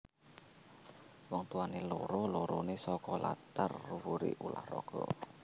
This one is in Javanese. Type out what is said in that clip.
Wong tuwané loro loroné saka latar wuri ulah raga